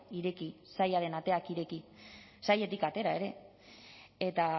ireki sailaren ateak ireki sailetik atera ere eta